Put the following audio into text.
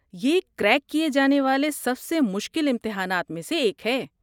یہ کریک کیے جانے والے سب سے مشکل امتحانات میں سے ایک ہے۔